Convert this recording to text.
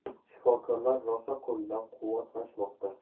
Shifokorlar rosa qo‘llab-quvvatlashmoqda.